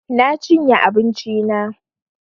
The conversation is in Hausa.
Na chinye abinchi na